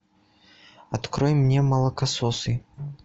открой мне молокососы